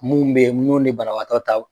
Mun bɛ ye n'u ni banabagatɔ ta